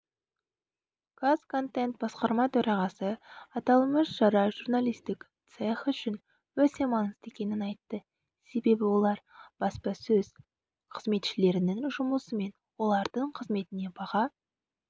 казконтент басқарма төрағасы аталмыш шара журналистік цех үшін өте маңызды екенін айтты себебі олар баспасөз қызметшілерінің жұмысы мен олардың қызметіне баға